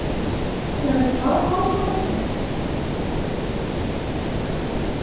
Verður það málsvörnin?